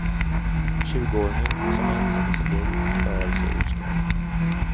Tjugoåringen, som var ensam i sin bil, klarade sig oskadd.